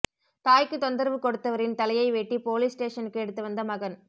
தாய்க்கு தொந்தரவு கொடுத்தவரின் தலையை வெட்டி போலீஸ் ஸ்டேஷனுக்கு எடுத்து வந்த மகன்